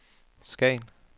Skagen